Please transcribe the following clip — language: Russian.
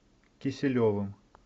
киселевым